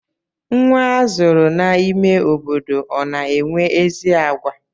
Nwa azụrụ n'ime obodo ọ na-enwe ezi àgwà?